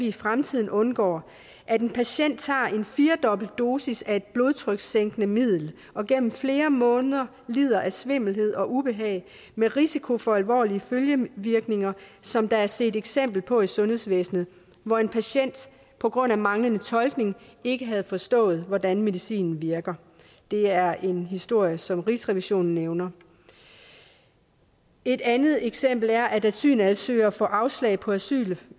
i fremtiden undgår at en patient tager en firedobbelt dosis af et blodtrykssænkende middel og gennem flere måneder lider af svimmelhed og ubehag med risiko for alvorlige følgevirkninger som der er set et eksempel på i sundhedsvæsnet hvor en patient på grund af manglende tolkning ikke havde forstået hvordan medicinen virker det er en historie som rigsrevisionen nævner et andet eksempel er at asylansøgere får afslag på asyl